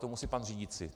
To musí pan řídící.